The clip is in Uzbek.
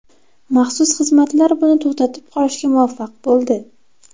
Maxsus xizmatlar buni to‘xtatib qolishga muvaffaq bo‘ldi.